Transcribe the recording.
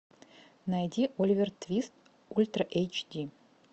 найди оливер твист ультра эйч ди